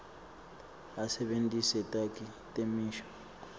asebentise takhi temisho